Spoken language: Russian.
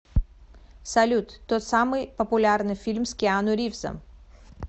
салют тот самый популярный фильм с киану ривзом